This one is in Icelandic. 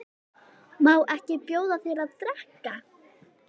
Má ekki bjóða þér að drekka?